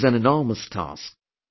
This is an enormous task